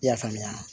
I y'a faamuya